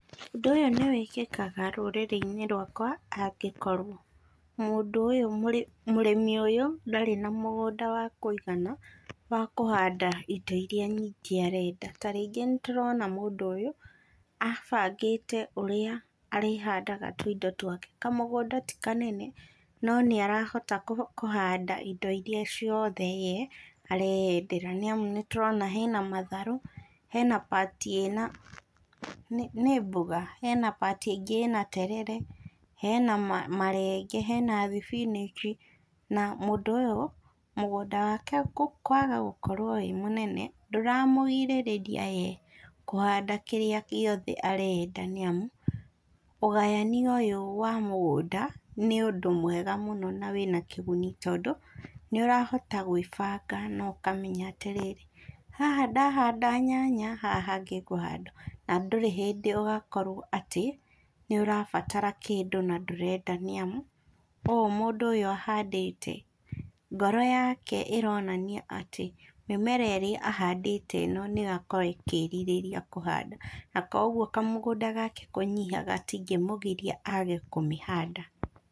Ũndũ ũyũ nĩ wĩkĩkaga rũrĩrĩ-inĩ rwaka angĩkorwo mũndũ ũyũ mũrĩmi ũyũ ndarĩ na mũgũnda wa kũigana wa kũhanda indo iria nyingĩ arenda. Ta rĩngĩ nĩ ndĩũrona mũndũ ũyũ, abangĩte ũrĩa arĩhandaga tũindo twake. Kamũgũnda ti kanene no nĩ arahota kũhanda indo iria ciothe ye areendera nĩ amu, nĩ tũrona hena matharũ, hena part ĩna, nĩ mboga? Hena part ĩngĩ ĩna terere, hena marenge, hena thibinĩnji, na mũndũ ũyũ mũgũnda wake kũaga gũkorwo wĩ mũnene ndũramũgirĩrĩria ye, kũhanda kĩrĩa gĩothe arenda. Nĩ amu ũgayania ũyũ wa mũgũnda nĩ ũndũ mwega mũno na wĩna kĩguni tondũ, nĩ ũrahota gwĩbaga na ũkamenya atĩ rĩrĩ, haha ndaahanda nyanya, haha hangĩ ngũhanda- na ndũrĩ hĩndĩ ũgakorwo atĩ nĩ ũrabatara kĩndũ, na ndũrenda. Nĩ amu ũũ mũndũ ũyũ ahandĩte, ngoro yake ĩroonania atĩ, mĩmera ĩrĩa ahandĩte ĩno nĩ yo yakorwo ĩkĩĩrirĩria kũhanda, na kwoguo kamũgũnda gake kũnyiha gatingĩmũgiria age kũmĩhanda.